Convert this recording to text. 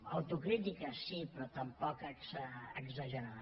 autocrítica sí però tampoc exagerada